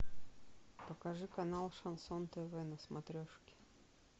покажи канал шансон тв на смотрешке